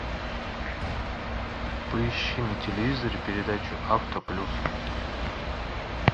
поищи на телевизоре передачу авто плюс